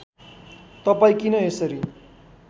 तपाईँ किन यसरी